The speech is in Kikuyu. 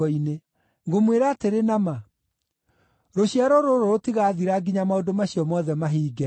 Ngũmwĩra atĩrĩ na ma, rũciaro rũrũ rũtigaathira nginya maũndũ macio mothe mahinge.